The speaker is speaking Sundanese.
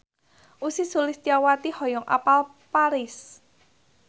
Ussy Sulistyawati hoyong apal Paris